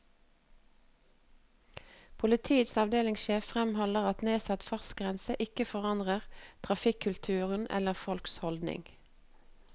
Politiets avdelingssjef fremholder at nedsatt fartsgrense ikke forandrer trafikkulturen, eller folks holdninger.